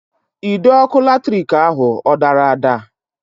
Ide ọkụ latrik ahụ ọ dara ada?